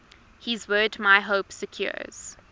his word my hope secures